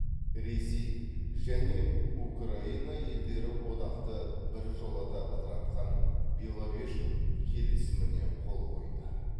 ресей және украина елдері одақты біржолата ыдыратқан беловеж келісіміне қол қойды